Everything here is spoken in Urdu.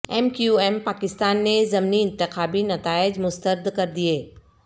ایم کیو ایم پاکستان نے ضمنی انتخابی نتائج مسترد کردیئے